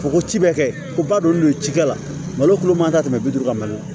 Fɔ ko ci bɛ kɛ ko ba don n'o ye cikɛ la malo kulu man ka tɛmɛ bi duuru kan